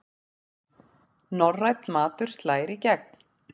Norrænn matur slær í gegn